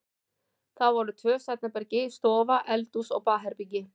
Það voru tvö svefnherbergi, stofa, eldhús og baðherbergi.